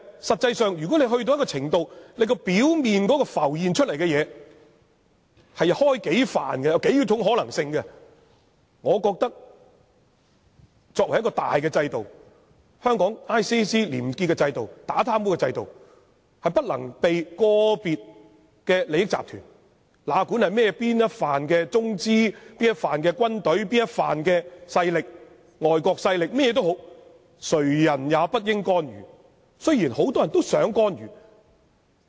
實際上，如果到了一種程度，表面浮現出數種可能性，我認為作為一種大制度，香港廉署廉潔的制度、打貪污的制度，是不能被個別的利益集團——哪管是中資集團、軍隊或外國勢力——作出干預，雖然很多人都想干預。